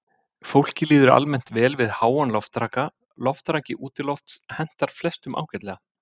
Fólki líður almennt vel við háan loftraka, loftraki útilofts hentar flestum ágætlega.